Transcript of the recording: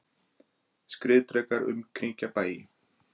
Skriðdrekar umkringja bæi